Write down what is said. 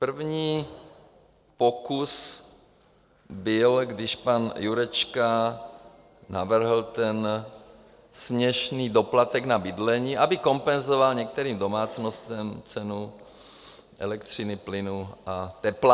První pokus byl, když pan Jurečka navrhl ten směšný doplatek na bydlení, aby kompenzoval některým domácnostem cenu elektřiny, plynu a tepla.